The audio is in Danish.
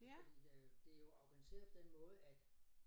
Fordi øh det er jo organiseret på den måde at